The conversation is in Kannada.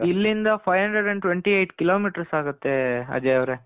ಇಲ್ಲಿಂದ five hundred and twenty eight kilometres ಆಗುತ್ತೆ ಅಜಯ್ ಅವರೆ .